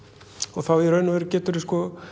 og þá í raun og veru geturðu